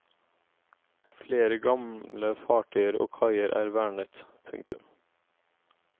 Flere gamle fartøyer og kaier er vernet. punktum